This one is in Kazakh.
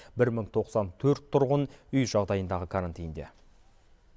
бір мың тоқсан төрт тұрғын үй жағдайындағы карантинде